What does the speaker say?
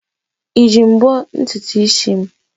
Iji mbọ ntutu isi m?